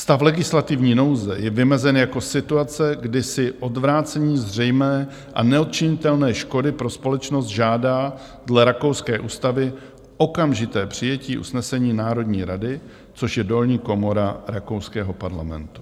Stav legislativní nouze je vymezen jako situace, kdy si odvrácení zřejmé a neodčinitelné škody pro společnost žádá dle rakouské ústavy okamžité přijetí usnesení Národní rady, což je dolní komora rakouského parlamentu.